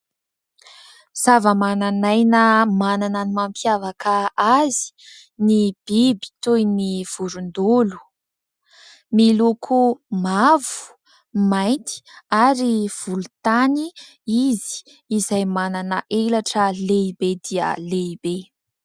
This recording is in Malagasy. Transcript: Zava-mananaina manana ny mampiavaka azy ny biby toy ny vorondolo miloko mavo, mainty ary volontany izy izay manana elatra lehibe dia lehibe.